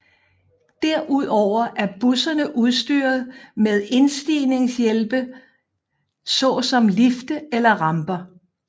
Derudover er busserne udstyret med indstigningshjælpe såsom lifte eller ramper